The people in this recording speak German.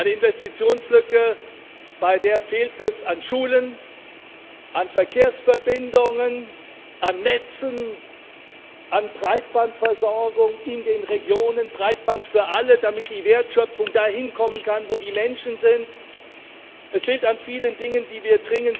Eine Investitionslücke, bei der es an Schulen, an Verkehrsverbindungen, an Netzen fehlt, an Breitbandversorgung in den Regionen Breitband für alle, damit die Wertschöpfung dahin kommen kann, wo die Menschen sind. Es fehlt an vielen Dingen, die wir